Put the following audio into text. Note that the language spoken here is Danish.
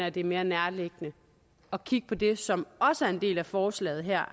at det er mere nærliggende at kigge på det som også er en del af forslaget her